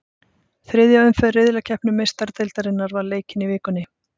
Þriðja umferð riðlakeppni Meistaradeildarinnar var leikin í vikunni.